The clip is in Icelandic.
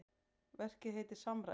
Verkið heitir Samræða.